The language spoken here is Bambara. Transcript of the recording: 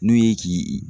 N'o ye k'i